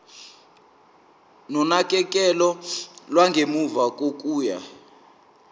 nonakekelo lwangemuva kokuya